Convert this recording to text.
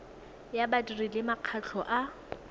ya badiri le makgotla a